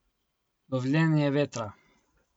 Lovljenje vetra.